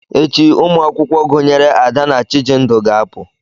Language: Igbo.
Echi, ụmụ akwụkwọ gụnyere Ada na Chijindu ga-apụ.